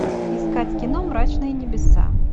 искать кино мрачные небеса